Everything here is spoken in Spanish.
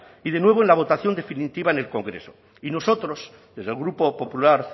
y de nuevo en la votación definitiva en el congreso y nosotros desde el grupo popular